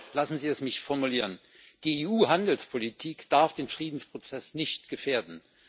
Lassen Sie es mich formulieren Die EU Handelspolitik darf den Friedensprozess nicht gefährden.